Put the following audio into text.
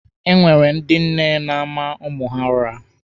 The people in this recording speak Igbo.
Enwere ndị nne na-ama ụmụ ha ụra